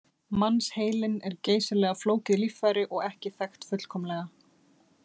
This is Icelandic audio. Mannsheilinn er geysilega flókið líffæri og ekki þekkt fullkomlega.